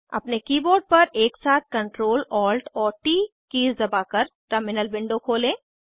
अपने कीबोर्ड पर एकसाथ Ctrl Alt और ट कीज़ दबाकर टर्मिनल विंडो खोलें